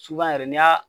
Subahana yɛrɛ n'i y'a